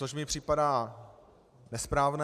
To mi připadá nesprávné.